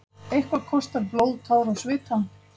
Við náum því ekki, svaraði Herra Toshizo.